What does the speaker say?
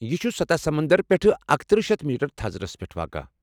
یہ چُھ سطح سمندر پٮ۪ٹھٕ اکتٔرہ شیتھ میٹر تھزرس پٮ۪ٹھ واقع